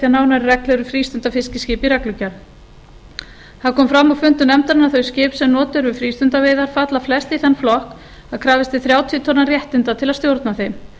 nánari reglur um frístundafiskiskip í reglugerð það kom fram á fundum nefndarinnar að þau skip sem notuð eru við frístundaveiðar falla flest í þann flokk að krafist er þrjátíu tonna réttinda til að stjórna þeim